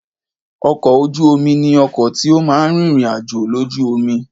Ọkọ̀ ojú oni ni ọkọ̀ tí ó máa ń rin ìrìn-àjò lójú omi